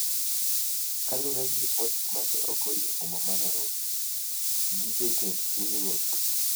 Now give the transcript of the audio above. Kaluwore gi ripot mane ogol e boma ma Nairobi gi jotend pinyruoth,